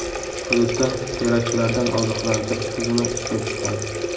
Hududda teraktlardan ogohlantirish tizimi ishga tushgan.